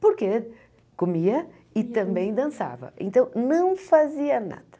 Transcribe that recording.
Porque comia e também dançava, então não fazia nada.